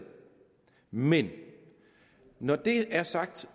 men når det er sagt